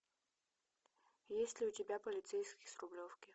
есть ли у тебя полицейский с рублевки